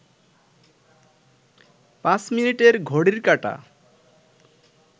পাঁচ মিনিটের ঘড়ির কাঁটা